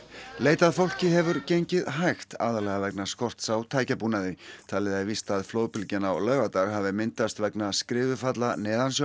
leit að fólki hefur gengið hægt aðallega vegna skorts á tækjabúnaði talið er víst að flóðbylgjan á laugardag hafi myndast vegna skriðufalla